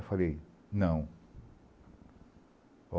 Eu falei, não.